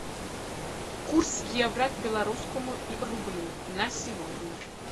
курс евро к белорусскому рублю на сегодня